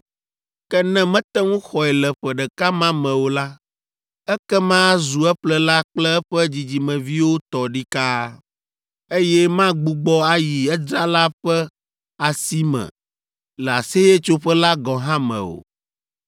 Ke ne mete ŋu xɔe le ƒe ɖeka ma me o la, ekema azu eƒlela kple eƒe dzidzimeviwo tɔ ɖikaa, eye magbugbɔ ayi edzrala ƒe asi me le Aseyetsoƒe la gɔ̃ hã me o.